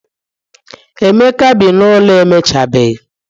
Emeka bi n'ụlọ emechabeghị